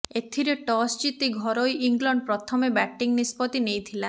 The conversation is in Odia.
ଏଥିରେ ଟସ୍ ଜିତି ଘରୋଇ ଇଂଲଣ୍ଡ ପ୍ରଥମେ ବ୍ୟାଟିଂ ନିଷ୍ପତ୍ତି ନେଇଥିଲା